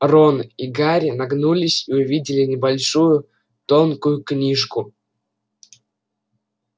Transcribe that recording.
рон и гарри нагнулись и увидели небольшую тонкую книжку